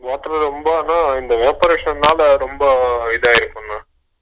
water ரோம்பனா evaporation னால ரொம்ப இதாயிருக்குங்க